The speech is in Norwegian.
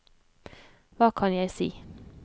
hva kan jeg si